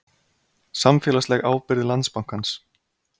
Samfélagsleg ábyrgð Landsbankans